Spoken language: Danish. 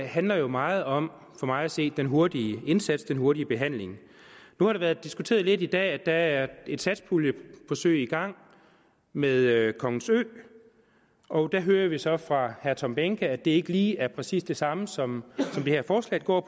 handler jo meget om for mig at se den hurtige indsats den hurtige behandling nu har det været diskuteret lidt i dag at der er et satspuljeforsøg i gang med kongens ø og der hører vi så fra herre tom behnke at det ikke er lige præcis det samme som det her forslag går